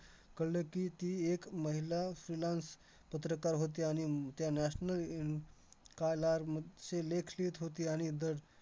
कळलं की, ती एक महिला freelance पत्रकार होती, आणि हम्म त्या national मधचे लेख लिहीत होती, आणि दर